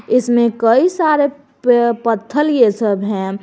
इसमें कई सारे पे पत्थर ये सब हैं।